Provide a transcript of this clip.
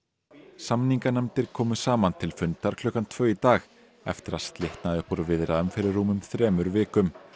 samninganefndir komu saman til fundar klukkan tvö í dag eftir að slitnaði upp úr viðræðum fyrir rúmum þremur vikum